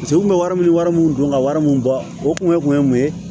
Paseke u kun bɛ wari min wari mun don ka wari min bɔ o kun ye mun ye